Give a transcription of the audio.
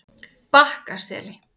Bakkaseli